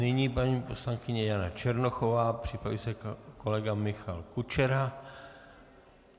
Nyní paní poslankyně Jana Černochová, připraví se kolega Michal Kučera.